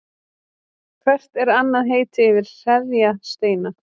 Hvert er annað heiti yfir hreðjarsteina?